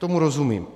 Tomu rozumím.